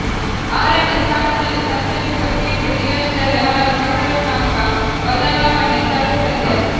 ಆರನೇ ಸ್ಥಾನದಲ್ಲಿ ಸಂಚರಿಸುವ ಕೇತು ಜೀವನದಲ್ಲಿ ಹಲವು ಸಕಾರಾತ್ಮಕ ಬದಲಾವಣೆ ತರುತ್ತದೆ